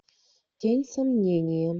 тень сомнения